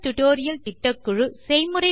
spoken tutorial திட்டக்குழு